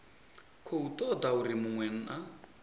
khou toda uri munwe na